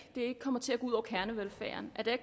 kommer til at gå ud over kernevelfærden så det